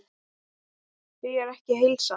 Því er ekki að heilsa.